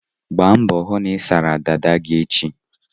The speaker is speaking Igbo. Gba mbọ hụ na ị sara dada gị echi!